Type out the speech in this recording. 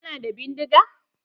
Kana da bindiga?